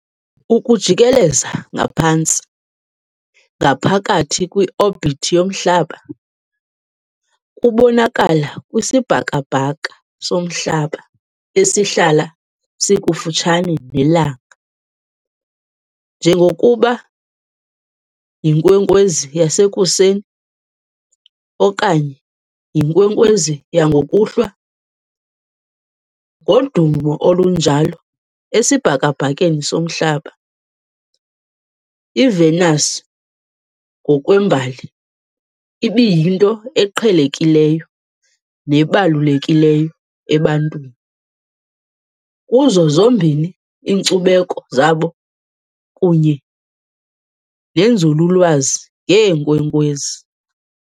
Ukujikeleza ngaphantsi, ngaphakathi kwi-orbit yomhlaba, kubonakala kwisibhakabhaka soMhlaba esihlala sikufutshane neLanga, njengokuba "yinkwenkwezi yasekuseni" okanye "yinkwenkwezi yangokuhlwa". Ngodumo olunjalo esibhakabhakeni soMhlaba, iVenus ngokwembali ibiyinto eqhelekileyo nebalulekileyo ebantwini, kuzo zombini iinkcubeko zabo kunye nenzululwazi ngeenkwenkwezi.